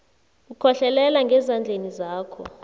ukhohlelele ngezandleni zakho